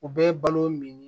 U bɛɛ ye balo min